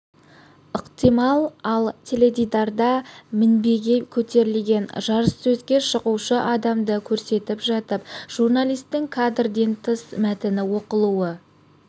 ықтимал ал теледидарда мінбеге көтерілген жарыссөзге шығушы адамды көрсетіп жатып журналистің кадрден тыс мәтіні оқылуы